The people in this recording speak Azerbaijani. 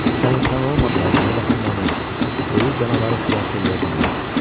Sən insan olmasaydın, o vaxt məni ölü canavarı xilas eləyə bilməzdin.